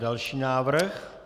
Další návrh.